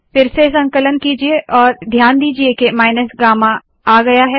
फिर से संकलन कीजिये और ध्यान दीजिए के माइनस गामा आया है